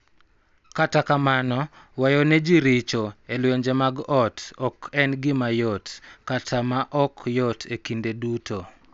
Kata kamano, weyo ne ji richo e lwenje mag ot ok en gima yot kata ma ok yot kinde duto.